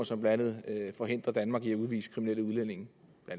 som blandt andet forhindrer danmark i at udvise kriminelle udlændinge